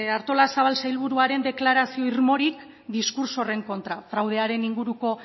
artolazabal sailburuaren deklarazio irmorik diskurtso honen kontra fraudearen inguruko